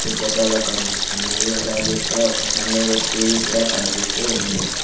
ఈ ఫొటో లో కనిపిస్తూన్నాయి అలాగే ఇక్కడ ఒక సన్ డైరెక్ట్ టీ_వి కూడా కనిపిస్తూ ఉంది.